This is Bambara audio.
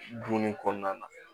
Dunni kɔnɔna na